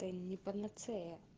это не панацея